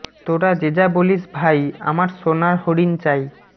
তোরা যে যা বলিস ভাই আমার সোনার হরিণ চাই